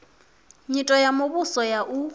nyito ya muvhuso ya u